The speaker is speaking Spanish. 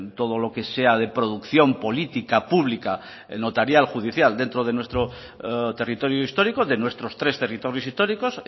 todo lo que sea de producción política pública notarial judicial dentro de nuestro territorio histórico de nuestros tres territorios históricos